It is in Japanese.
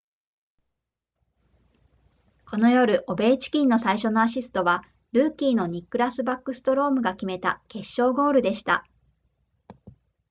この夜オベーチキンの最初のアシストはルーキーのニックラスバックストロームが決めた決勝ゴールでした